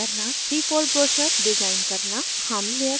* 3fold brochure design करना